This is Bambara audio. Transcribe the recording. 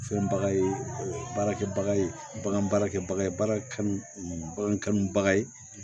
Fɛn baga ye baarakɛbaga ye bagan baarakɛbaga ye baara kanu bagan kanubaga ye